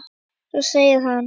Svo segir hann.